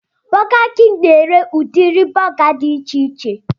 Burger king na-ere udiri buga dị icheiche